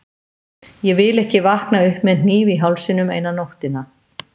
Ég vil ekki vakna upp með hníf í hálsinum eina nóttina.